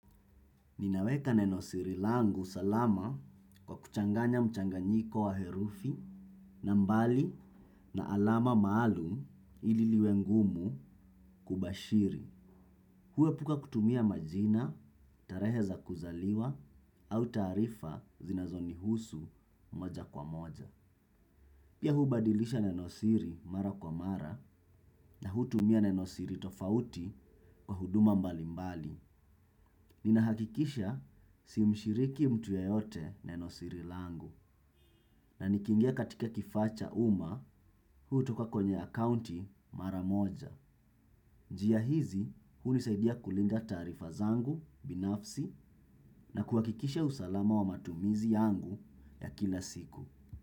Ninaweka nenosiri langu salama kwa kuchanganya mchanganyiko wa herufi na mbali na alama maalum ili liwe ngumu kubashiri. Huepuka kutumia majina, tarehe za kuzaliwa au taarifa zinazonihusu moja kwa moja. Pia hubadilisha nenosiri mara kwa mara na hutumia nenosiri tofauti kwa huduma mbalimbali. Ninahakikisha simshiriki mtu yeyote nenosiri langu na nikiingia katika kifaa cha umma hutoka kwenye akaunti mara moja. Njia hizi hunisaidia kulinda taarifa zangu binafsi na kuhakikisha usalama wa matumizi yangu ya kila siku.